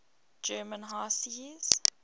german high seas